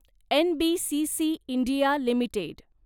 NBCC India limited